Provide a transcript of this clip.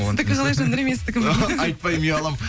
сіздікі қалай жандәурен мен сіздікін айтпаймын ұяламын